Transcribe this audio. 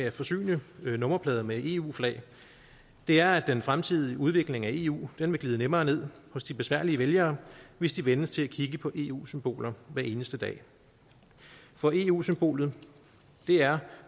at forsyne nummerplader med eu flag er at den fremtidige udvikling af eu vil glide nemmere ned hos de besværlige vælger hvis de vænnes til at kigge på eu symboler hver eneste dag for eu symbolet er